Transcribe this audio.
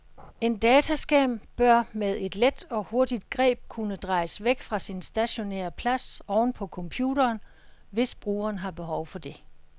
En dataskærm bør med et let og hurtigt greb kunne drejes væk fra sin stationære plads oven på computeren, hvis brugeren har behov for det.